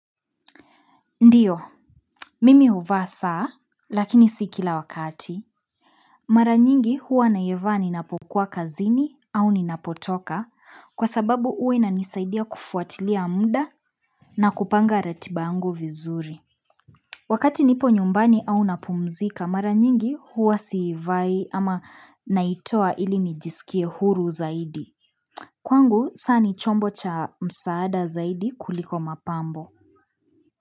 Ndiyo, mimi huvaa saa lakini si kila wakati, mara nyingi huwa naivaa ninapokuwa kazini au ninapotoka kwa sababu huwa inanisaidia kufuatilia muda na kupanga ratiba yangu vizuri wakati nipo nyumbani au napumzika, mara nyingi huwa siivai ama naitoa ili nijisikie huru zaidi kwangu saa ni chombo cha msaada zaidi kuliko mapambo.